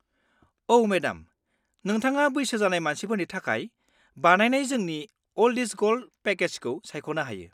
-औ, मेडाम। नोंथाङा बैसो जानाय मानसिफोरनि थाखाय बानायनाय जोंनि 'अल्ड इस गल्ड' पेकेजखौ सायख'नो हायो।